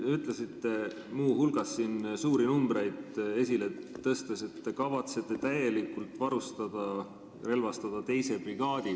Te ütlesite muu hulgas siin suuri numbreid esile tõstes, et te kavatsete täielikult varustada-relvastada teise brigaadi.